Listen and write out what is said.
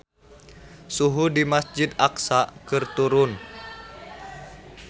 Suhu di Masjid Aqsa keur turun